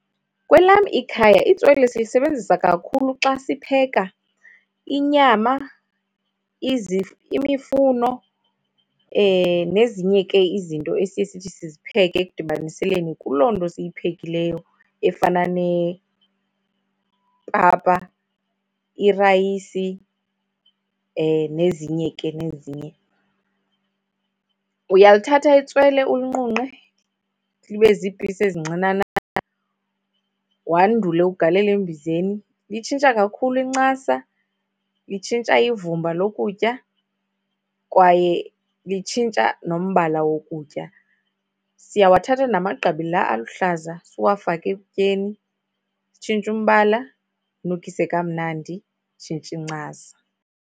Kwelam ikhaya itswele silisebenzisa kakhulu xa sipheka inyama, imifuno nezinye ke izinto esiye sithi sizipheke ekudibaniseleni kuloo nto siyiphekileyo efana nepapa, irayisi, nezinye ke nezinye. Uyalithatha ke itswele ulinqunqe libe ziipisi ezincinanana, wandule ugalele embizeni. Litshintsha kakhulu incasa, litshintsha ivumba lokutya kwaye litshintsha nombala wokutya. Siyawathatha namagqabi la luhlaza siwafake ekutyeni, zitshintshe umbala, nukise kamnandi, zitshintshe incasa.